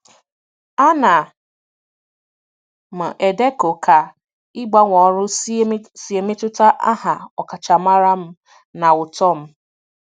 Ana m edekọ ka ịgbanwe ọrụ si emetụta aha ọkachamara m na uto m.